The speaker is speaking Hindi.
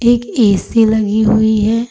एक ए_सी लगी हुई है।